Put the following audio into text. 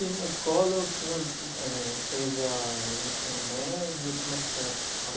E na escola o senhor eh fez a o ensino médio como é que foi a?